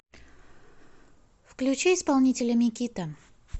включи исполнителя микита